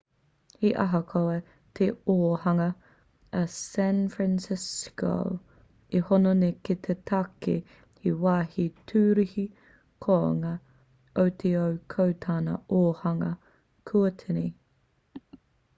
he ahakoa te ōhanga o san francisco e hono nei ki te take he wāhi tūruhi kounga o te ao ko tana ōhanga kua tini